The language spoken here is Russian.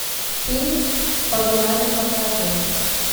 фильм погнали покажи